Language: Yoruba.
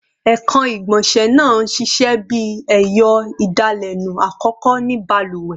Ekan igbonse naa n ṣiṣẹ bi ẹyọ idalẹnu akọkọ ni baluwe